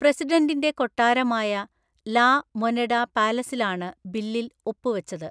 പ്രസിഡന്റിൻ്റെ കൊട്ടാരമായ La Moneda പാലസിലാണ് ബില്ലിൽ ഒപ്പുവെച്ചത്.